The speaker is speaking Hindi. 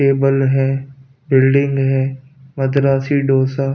टेबल है बिल्डिंग है मद्रासी डोसा --